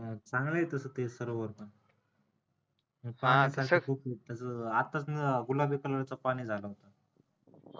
चांगलंय तस ते सरोवर पण आत्ताच गुलाबी color च पाणी झालं